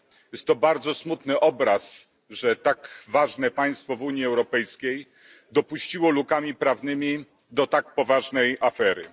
Jest to bardzo smutny obraz, że tak ważne państwo w Unii Europejskiej dopuściło lukami prawnymi do tak poważnej afery.